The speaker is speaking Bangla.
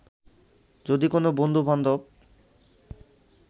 যদি কোনো বন্ধু-বান্ধব